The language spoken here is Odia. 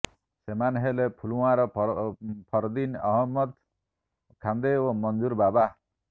ସେମାନେ ହେଲେ ପୁଲଓ୍ବାମାର ଫରଦିନ ଅହମଦ ଖାନ୍ଦେ ଓ ମଞ୍ଜୁର ବାବା